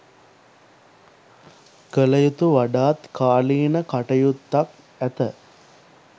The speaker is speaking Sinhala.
කල යුතු වඩාත් කාලීන කටයුත්තක් ඇත.